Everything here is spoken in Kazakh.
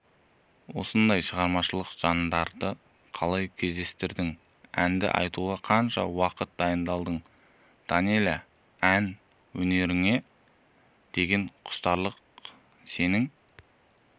осындай шығармашыл жандарды қалай кездестірдің әнді айтуға қанша уақыт дайындалдың данэлия ән өнеріне деген құштарлық сенің